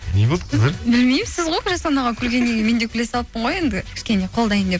не болды қыздар білмеймін сіз ғой жасұлан аға күлгеннен кейін мен де күле салыппын ғой енді кішкене қолдайын деп